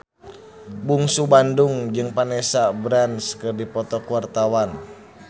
Bungsu Bandung jeung Vanessa Branch keur dipoto ku wartawan